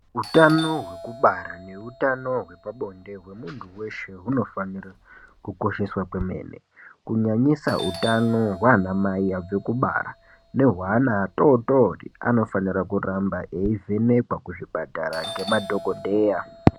Utano wekubara neutano wepabonde wemuntu weshe unofane kukosheswa kwemene kunyanyisa utano waana mai wekubara nehwe wana atootori anofanira kuramba eivhenekwa kuchipatara ngemadhokodheya.